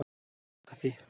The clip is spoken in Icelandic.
Fjörukaffi